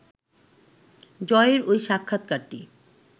জয়ের ওই সাক্ষাৎকারটি